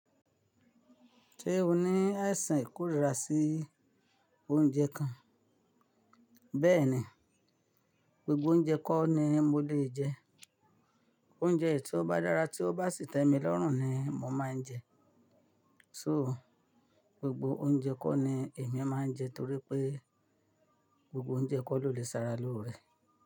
Ṣé o ní ẹ̀sìn ìkórìíra sí oúnjẹ kan? Bẹ́ẹ̀ni, gbogbo oúnjẹ kọ́ ni mo lèe jẹ, oúnjẹ èyí tí ó bá dára tí ó bá sì tẹ́mi lọ́rùn ni mo màá n jẹ. So gbogbo oúnjẹ kọ́ ni èmi máa ń jẹ torí pé gbogbo oúnjẹ kọ́ ló lè sára lóore.